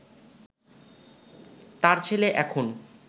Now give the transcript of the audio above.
তাঁর ছেলে এখন